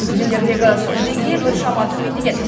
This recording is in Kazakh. өзендердегі су деңгейі біршама төмендеген